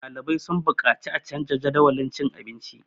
ɗalibai sun buƙaci a canja Jadawalin abinci